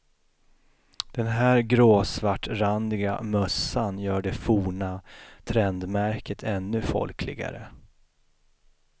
Den här gråsvartrandiga mössan gör det forna trendmärket ännu folkligare.